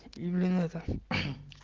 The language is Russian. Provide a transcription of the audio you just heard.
блин это